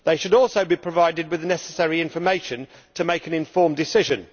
They should also be provided with the necessary information to make an informed decision.